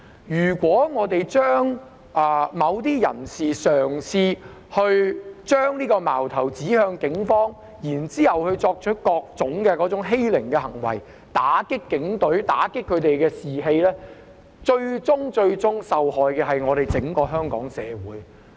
如果某些人嘗試將矛頭指向警方，然後作出各種欺凌行為，打擊警隊和警隊士氣，最終受害的是整個香港社會。